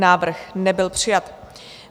Návrh nebyl přijat.